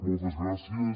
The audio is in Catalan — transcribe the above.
moltes gràcies